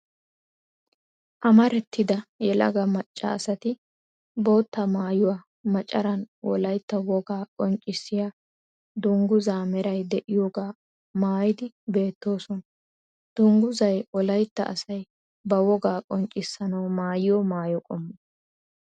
Amarattida yelaga macca asati bootta maayuwa macaran wolayitta wogaa qonccissiya dungguzaa meray de'iyoga maayidi beettoosona. Dungguzay wolayitta asayi ba wogaa qonccissanawu maayiyo maayo qommo.